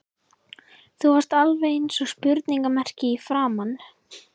Þú varst alveg eins og spurningarmerki í framan.